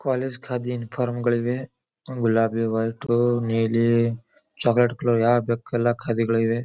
College khadi uniform ಗಳಿವೆ. ಗುಲಾಬಿ work ನೀಲಿ ಚೋಕಲೇಟ್ ಕಲರ್ ಯಾವ್ದ್ ಬೇಕು ಆ ಖಾದ್ಯಗಳಿವೆ.